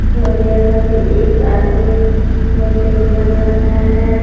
और यहां पे एक आदमी मशीन बना रहा है।